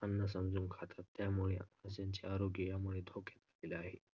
अन्न आम्ही समजून खातात यामुळे त्यांचे आरोग्य धोक्यात येत आहे